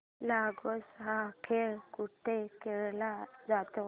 लगोर्या हा खेळ कुठे खेळला जातो